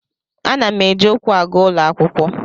Ana m eji ụkwụ aga ụlọ akwụkwọ.